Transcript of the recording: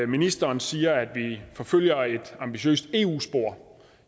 ministeren siger at vi forfølger et ambitiøst eu spor